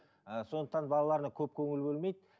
ііі сондықтан балаларына көп көңіл бөлмейді